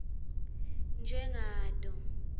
njengato